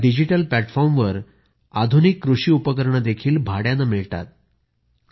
या डिजिटल प्लॅटफॉर्मवर आधुनिक कृषी उपकरणे देखील भाड्याने मिळतात